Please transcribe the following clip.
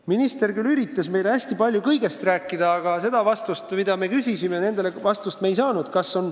Minister küll üritas meile hästi palju kõigest rääkida, aga sellele, mida me küsisime, me vastust ei saanud.